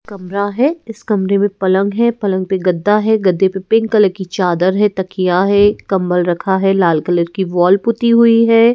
कमरा है इस कमरे में पलंग है पलंग पे गद्दा है गद्दे पे पिंक कलर की चादर है तकिया है कंबल रखा है लाल कलर की वॉल पुती हुई है।